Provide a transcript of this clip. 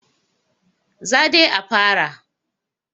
Za dai a fara.